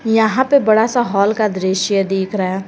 यहां पे बड़ा सा हॉल का दृश्य दिख रहा है।